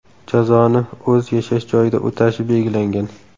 Jazoni o‘z yashash joyida o‘tashi belgilangan.